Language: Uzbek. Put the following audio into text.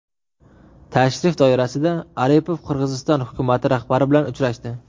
Tashrif doirasida Aripov Qirg‘iziston hukumati rahbari bilan uchrashdi .